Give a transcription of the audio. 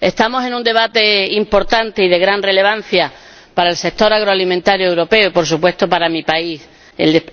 estamos en un debate importante y de gran relevancia para el sector agroalimentario europeo y, por supuesto, para mi país, España.